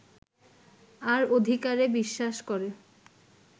আর অধিকারে বিশ্বাস করে